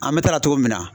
An bɛ taga cogo min na